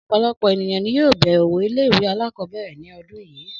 Ọ̀pọ̀lọpọ̀ ènìyàn ni yóò bẹ̀rẹ̀ òwò ilé ìwé alákọ̀ọ́bẹ̀rẹ̀ ní ọdún yìí